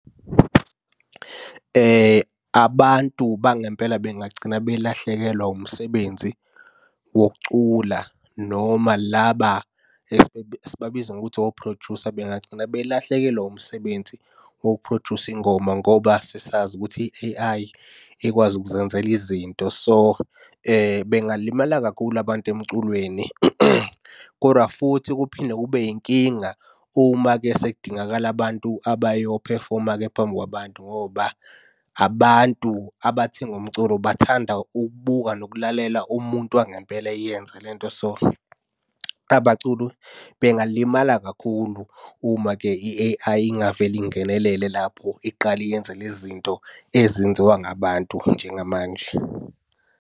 Abantu bangempela bengagcina belahlekelwa umsebenzi wokucula noma laba esibabiza ngokuthi ophrojusa bengagcina belahlekelwa umsebenzi wokuphrojusa ingoma ngoba sesazi ukuthi i-A_I ekwazi ukuzenzela izinto. So, bengalimala kakhulu abantu emculweni, koda futhi kuphinde kube yinkinga uma-ke sekudingakala abantu abayophefoma-ke phambi kwabantu ngoba abantu abathenga umculo bathanda ukubuka nokulalela umuntu wangempela eyenza le nto. So, abaculi bengalimala kakhulu uma-ke i-A_I ingavele ingenelele lapho iqale yenze le zinto ezenziwa ngabantu njengamanje.